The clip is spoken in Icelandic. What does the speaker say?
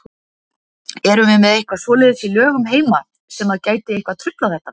Erum við með eitthvað svoleiðis í lögum heima sem að gæti eitthvað truflað þetta?